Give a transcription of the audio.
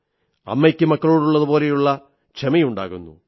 അമ്മയ്ക്ക് മക്കളോടുള്ളതുപോലെ ക്ഷമയുണ്ടാകുന്നു